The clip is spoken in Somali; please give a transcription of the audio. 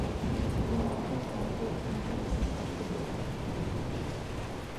Beeraleydu waxay u baahan yihiin qorshe degdeg ah.